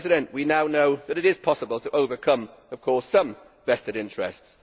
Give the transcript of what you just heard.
We now know that it is possible to overcome some vested interests.